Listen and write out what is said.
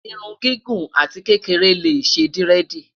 irún gígùn àti kékeré lé ṣé diredi